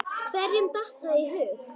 Hverjum datt það í hug?!